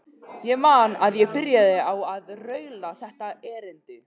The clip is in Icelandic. Ég man að ég byrjaði á að raula þetta erindi: